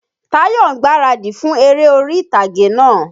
Táyọ̀ ń gbaradì fún eré orí tàgé náà.